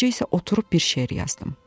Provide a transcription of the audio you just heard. Gecə isə oturub bir şeir yazdım.